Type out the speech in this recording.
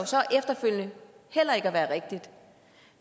så efterfølgende heller ikke at være rigtigt